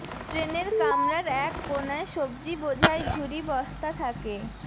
ট্রেনের কামরার এক কোণায় সব্জি বোঝাই ঝুরি বস্তা থাকে